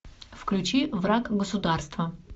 включи враг государства